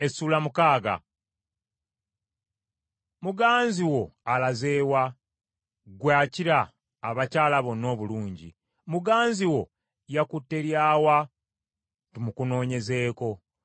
Muganzi wo alaze wa, ggwe akira abakyala bonna obulungi? Muganzi wo yakutte lya wa tumukunoonyezeeko?